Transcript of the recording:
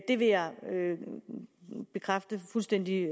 det vil jeg bekræfte fuldstændig